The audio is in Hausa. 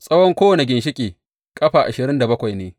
Tsawon kowane ginshiƙi, ƙafa ashirin da bakwai ne.